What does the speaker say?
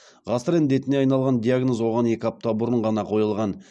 ғасыр індетіне айналған диагноз оған екі апта бұрын ғана қойылған